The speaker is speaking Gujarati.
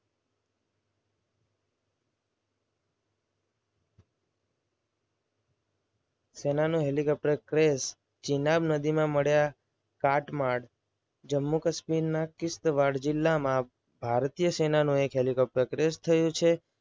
સેનાનું હેલિકોપ્ટર ક્રેશ. જીનાબ નદીમાં મળ્યા જમ્મુ કાશ્મીરના કિસવાર જિલ્લામાં ભારતીય સેના નો એક હેલિકોપ્ટર ક્રેશ થયું છે.